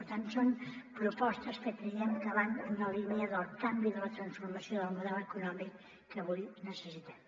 per tant són propostes que creiem que van en la línia del canvi i de la transfor·mació del model econòmic que avui necessitem